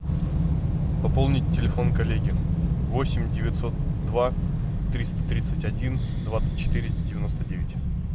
пополнить телефон коллеги восемь девятьсот два триста тридцать один двадцать четыре девяносто девять